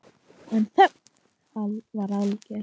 En þögnin var alger.